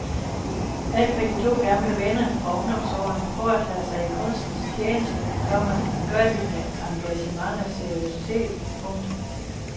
Alt hvad de to gamle venner fra ungdomsårene foretager sig i kunstens tjeneste, komma gør de med engagement og seriøsitet. punktum